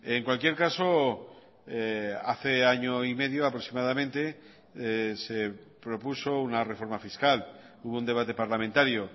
en cualquier caso hace año y medio aproximadamente se propuso una reforma fiscal hubo un debate parlamentario